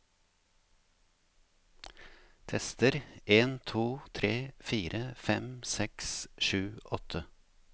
Tester en to tre fire fem seks sju åtte